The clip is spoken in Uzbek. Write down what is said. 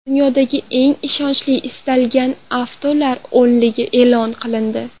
Dunyodagi eng ishonchli ishlatilgan avtolar o‘nligi e’lon qilindi.